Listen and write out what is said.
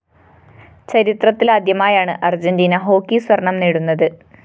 ചരിത്രത്തിലാദ്യമായാണ് Argentina hockey സ്വര്‍ണ്ണം നേടുന്നത്